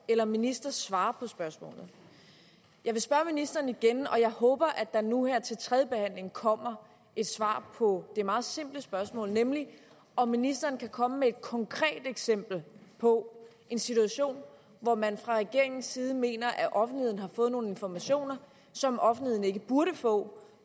eller ministeren svare på spørgsmålet jeg vil spørge ministeren igen og jeg håber at der nu her til tredjebehandlingen kommer et svar på det meget simple spørgsmål nemlig om ministeren kan komme med et konkret eksempel på en situation hvor man fra regeringens side mener at offentligheden har fået nogle informationer som offentligheden ikke burde få